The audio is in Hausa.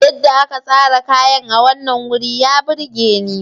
Yadda aka tsara kayan a wannan wuri ya burge ni.